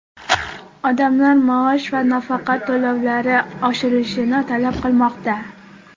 Odamlar maosh va nafaqa to‘lovlari oshirilishini talab qilmoqda.